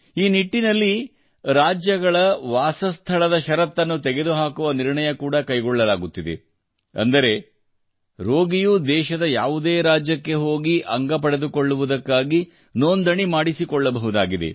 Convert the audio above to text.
ಈ ನಿಟ್ಟಿನಲ್ಲಿ ರಾಜ್ಯಗಳ ವಾಸಸ್ಥಳದಷರತ್ತುಗಳನ್ನುತೆಗೆದುಹಾಕುವ ನಿರ್ಣಯ ಕೂಡಾ ಕೈಗೊಳ್ಳಲಾಗುತ್ತಿದೆ ಅಂದರೆ ರೋಗಿಯು ದೇಶದ ಯಾವುದೇ ರಾಜ್ಯಕ್ಕೆ ಹೋಗಿ ಅಂಗಪಡೆದುಕೊಳ್ಳುವುದಕ್ಕಾಗಿ ನೋಂದಣಿ ಮಾಡಿಸಿಕೊಳ್ಳಬಹುದಾಗಿದೆ